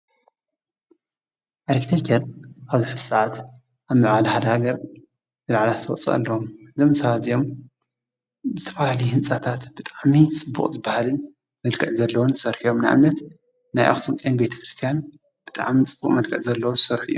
አርክቴክቸር ኣብዚ ሕዚ ሰዓት ኣብ ምዕባለ ሓደ ሃገር ዝለዓለ ኣስተዋፅኦ ኣለዎ፡፡ እዞም ሰባት እዚኦም ብዝተፈላለየ ህንፃታት ብጣዕሚ ፅቡቅ ዝበሃል መልክዕ ዘለዎም ዝሰርሑ እዮም፡፡ ንኣብነት፡- ናይ ኣክሱም ፅዮን ቤተክርስትያን ብጣዕሚ ፅቡቅ መልክዕ ዘለዎ ዝሰርሑ እዮም፡፡